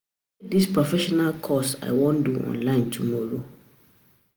E get dis professional course I wan do online tomorrow